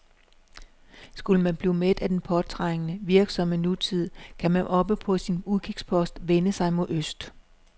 Skulle man blive mæt af den påtrængende, virksomme nutid, kan man oppe på sin udkigspost vende sig mod øst.